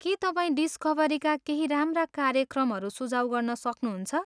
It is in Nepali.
के तपाईँ डिस्कभरीका केही राम्रा कार्यक्रमहरू सुझाउ गर्न सक्नहुन्छ?